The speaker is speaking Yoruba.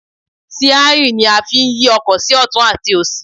Síárì ni a fí ń yí ọkọ̀ sí ọ̀tún àti òsì